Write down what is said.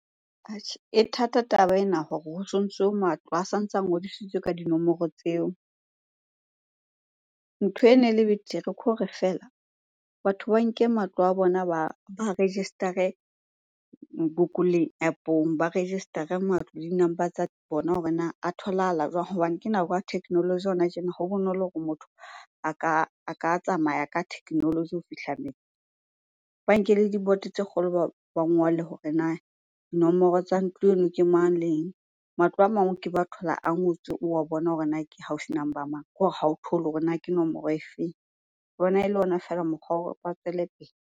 Atjhe e thata taba ena hore ho so ntso matlo, a sa ntse a ngodisitswe ka dinomoro tseo. Ntho ene le betere khore feela batho ba nke matlo a bona ba a register-e Google App-ong. Ba register-e matlo le di-number tsa bona hore na a tholahala jwang? Hobane ke nako ya technology hona tjena, ho bonolo hore motho a ka tsamaya ka technology ho fihla . Ba nke le diboto tse kgolo ba ngolle hore na dinomoro tsa ntlo eno ke mang? Leng? Matlo a mang o ke be wa thola a ngotswe o wa bona hore na ke house number mang? Kore ha o thole hore na ke nomoro efeng? O bona ele ona feela mokgwa wa hore ba tswele pele.